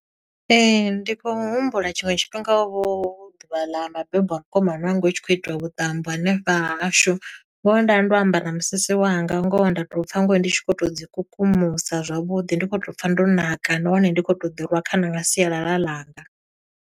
Ee, ndi khou humbula tshiṅwe tshifhinga, hovha hu ḓuvha ḽa mabebo a mukomana wanga, hu tshi khou itiwa vhuṱambo hanefha ha hashu. Ngoho nda ndo ambara musisi wanga, ngoho nda to pfa ngoho ndi tshi khou to dzi kukumusa zwavhuḓi ndi khou tou pfa ndo ṋaka nahone ndi khou to ḓi rwa khana nga sialala ḽanga.